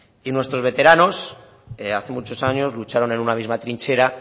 y nuestros veteranos hace muchos años lucharon en una misma trinchera